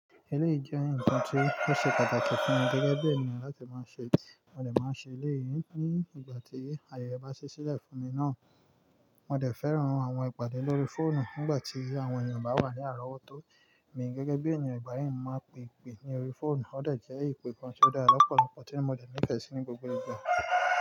Eleyii jẹ́ ǹkan tí ó ṣe pàtàkì fún mi gẹ́gẹ́ bí ènìyàn láti máa ṣe, mo dè máa ṣe eléyìí ní ìgbà tí ayẹyẹ bá ṣí sílẹ̀ fún mi náà. Mo dè fẹ́ran àwọn ìpàdé lórí fóònù nígbà tí àwọn ènìyàn bá wà ní àrówó tó, mi gẹ́gẹ́ bí ènìyàn ìgbà yẹn máa pèpè ní orí fóònù, ó lè jẹ́ ìpè kan tó dá lọ́pọ̀lọpọ̀ tí mo lè ní ìtẹ̀sí ní gbogbo ìgbà.